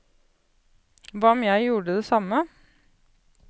Hva om jeg gjorde det samme?